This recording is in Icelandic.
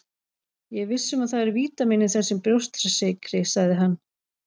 Ég er viss um að það eru vítamín í þessum brjóstsykri, sagði hann.